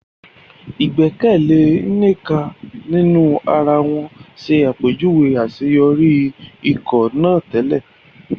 Ìgbẹ́kẹ̀lé Nneka nínú ara wọn ṣàpèjúwe àṣeyọrí ikọ̀ náà tẹ́lẹ̀.